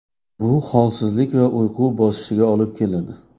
Bu holsizlik va uyqu bosishiga olib keladi.